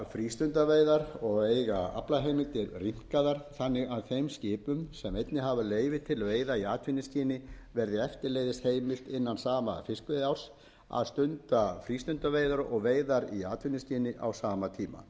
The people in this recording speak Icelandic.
frístundaveiðar og eiga aflaheimildir rýmkaðar þannig að þeim skipum sem einnig hafa leyfi til veiða í atvinnuskyni verði eftirleiðis heimilt innan sama fiskveiðiárs að stunda frístundaveiðar og veiðar í atvinnuskyni á sama tíma í